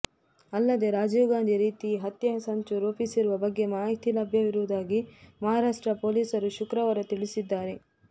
ಅಲ್ಲದೇ ರಾಜೀವ್ ಗಾಂಧಿ ರೀತಿ ಹತ್ಯೆ ಸಂಚು ರೂಪಿಸಿರುವ ಬಗ್ಗೆ ಮಾಹಿತಿ ಲಭ್ಯವಾಗಿರುವುದಾಗಿ ಮಹಾರಾಷ್ಟ್ರ ಪೊಲೀಸರು ಶುಕ್ರವಾರ ತಿಳಿಸಿದ್ದಾರೆ